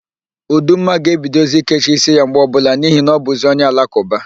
Ụdumma ga-ebidozi ikechi ísíí ya mgbe ọbụla n'ihi na ọbụzị onye Alakụba.